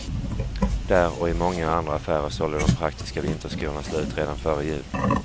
Där och i många andra affärer sålde de praktiska vinterskorna slut redan före jul.